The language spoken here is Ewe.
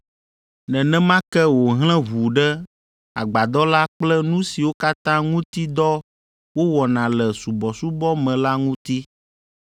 Nenema ke wòhlẽ ʋu ɖe agbadɔ la kple nu siwo katã ŋuti dɔ wowɔna le subɔsubɔ me la ŋuti.